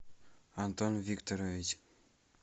антон викторович